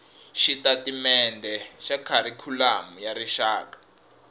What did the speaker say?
xitatimendhe xa kharikhulamu ya rixaka